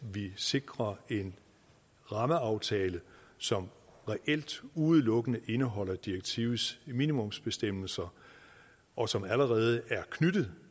vi sikrer en rammeaftale som reelt udelukkende indeholder direktivets minimumsbestemmelser og som allerede er knyttet